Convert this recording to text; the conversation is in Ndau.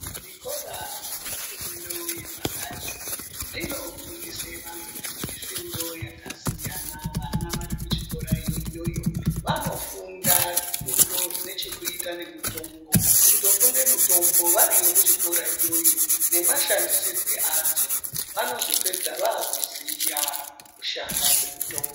Zvikora zvemufundo wepakati zvinofundisa vantu mifundo yakasiyana. Vana varikuchikora iyoyo vanofunda zvifundo zvinechekuita nemutombo. Kutofunda mutombo variyo kuchikoro iyoyo nemashandisirwo adzo. Vanozopedza vakuziya kushanda kwemutombo.